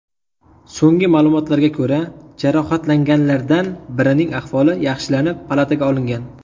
So‘nggi ma’lumotlarga ko‘ra, jarohatlanganlardan birining ahvoli yaxshilanib, palataga olingan.